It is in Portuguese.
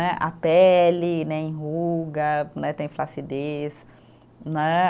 Né, a pele né, enruga né, tem flacidez, né.